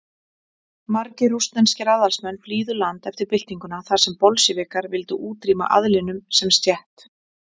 Margir rússneskir aðalsmenn flýðu land eftir byltinguna þar sem Bolsévikar vildu útrýma aðlinum sem stétt.